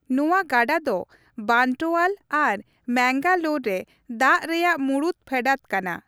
ᱱᱚᱣᱟ ᱜᱟᱰᱟ ᱫᱚ ᱵᱟᱱᱴᱳᱣᱟᱞ ᱟᱨ ᱢᱮᱝᱜᱟᱞᱳᱨ ᱨᱮ ᱫᱟᱜ ᱨᱮᱭᱟᱜ ᱢᱩᱲᱩᱫ ᱯᱷᱮᱰᱟᱫ ᱠᱟᱱᱟ ᱾